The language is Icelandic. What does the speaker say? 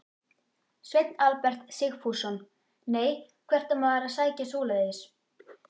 Sveinn Albert Sigfússon: Nei, hvert á maður að sækja svoleiðis?